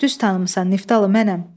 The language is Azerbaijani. Düz tanımısan, Niftalı mənəm.